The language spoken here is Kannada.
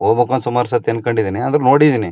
ಹೋಬೇಕು ಅಂತ ಸುಮಾರ್ ಸಾಥಿ ಅಂದ್ಕಂಡಿನಿ ಆದ್ರೂ ನೋಡಿದೀನಿ--